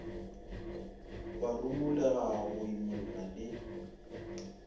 wa rumolega go imolla le